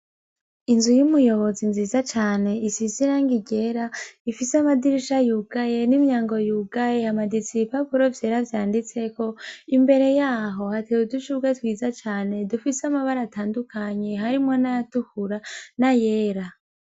Inzu yumuboyozi nziza cane isize irangi ryera ifise amadirisha yugaye n'imyango yugaye hamaditse ibipapuro vyera vyanditseko imbere yaho hateye udushugwe twiza cane dufise amabara atandukanye harimwo nayatukura nayera.